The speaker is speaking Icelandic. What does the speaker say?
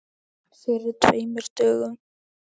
Fyrir tveimur dögum?